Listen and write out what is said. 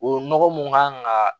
O nɔgɔ mun kan ga